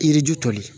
Yiriju toli